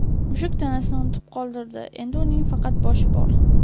Mushuk tanasini unutib qoldirdi, endi uning faqat boshi bor.